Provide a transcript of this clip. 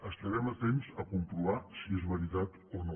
estarem atents a comprovar si és veritat o no